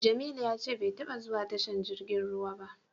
Jamilu ya ce bai taba zuwa tashar jirgin ruwa ba.